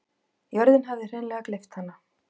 Jörðin hafði hreinleg gleypt hana.